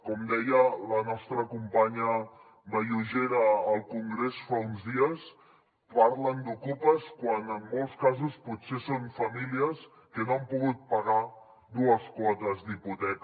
com deia la nostra companya vallugera al congrés fa uns dies parlen d’ocupes quan en molts casos potser són famílies que no han pogut pagar dues quotes d’hipoteca